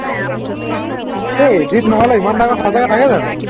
এই edit নহলে ইমান ডাঙৰ সচাকে থাকে জানো